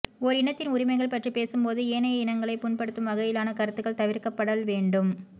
ஓர் இனத்தின் உரிமைகள் பற்றிப் பேசும்போது ஏனைய இனங்களைப் புண்படுத்தும் வகையிலான கருத்துகள் தவிர்க்கப்படல் வேண்டும்